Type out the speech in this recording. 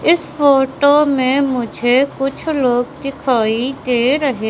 इस फोटो में मुझे कुछ लोग दिखाई दे रहे--